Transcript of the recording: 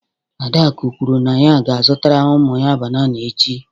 Adaku kwuru na ya ga-azụtara ụmụ ya banana echi.